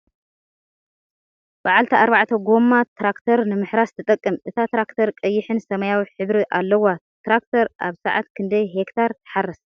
ብዓልቲ ኣርባዕተ ጎማ ትራክተር ንምሕራስ ትጠቅም ። እታ ትራክተር ቀይሕን ሰመያዊ ሕብሪ ኣለዋ ። ትራክ ተር ኣብ ስዓት ክንደይ ሄክታር ትሓርስ ?